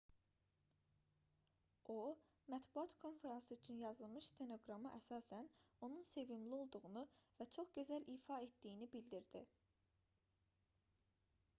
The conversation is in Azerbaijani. o mətbuat konfransı üçün yazılmış stenoqrama əsasən onun sevimli olduğunu və çox gözəl ifa etdiyini bildirdi